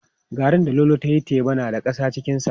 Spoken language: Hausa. Garrin da Lolo ta yi teba da shi na da ƙasa cikinsa.